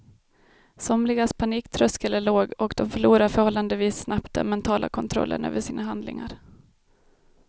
Somligas paniktröskel är låg och de förlorar förhållandevis snabbt den mentala kontrollen över sina handlingar.